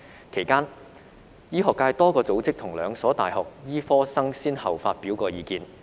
其間，醫學界多個組織及兩所大學醫科生曾先後發表意見。